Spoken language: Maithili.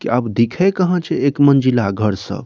की अब दिखे कहाँ छै एक मंजिला घर सब